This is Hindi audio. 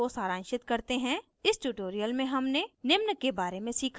इसको सारांशित करते हैं इस tutorial में हमने निम्न के बारे में सीखा